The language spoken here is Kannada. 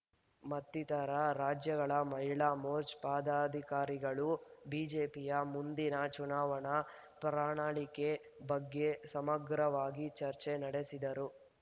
ಮತ್ತಿತರ ರಾಜ್ಯಗಳ ಮಹಿಳಾ ಮೋರ್ಚಾ ಪದಾಧಿಕಾರಿಗಳು ಬಿಜೆಪಿಯ ಮುಂದಿನ ಚುನಾವಣಾ ಪ್ರಣಾಳಿಕೆ ಬಗ್ಗೆ ಸಮಗ್ರವಾಗಿ ಚರ್ಚೆ ನಡೆಸಿದರು